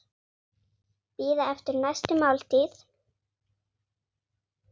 Bíða eftir næstu máltíð.